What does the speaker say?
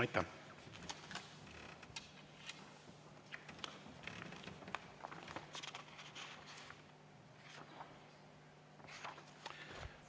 Aitäh!